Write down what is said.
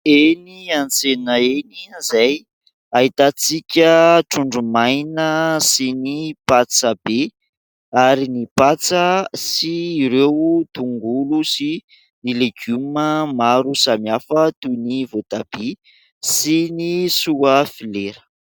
Eny an-tsena eny, izay ahitantsika: trondro maina sy ny patsabe ary ny patsa, sy ireo tongolo sy ny legioma maro samihafa toy ny voatabia sy ny sofilera.